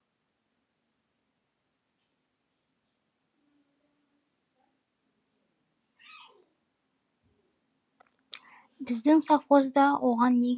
біздің совхозда оған не керек